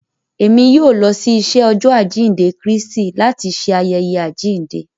Èmí yóò lọ si iṣẹ Ọjọ ajinde Kristi láti ṣe ayẹyẹ ajinde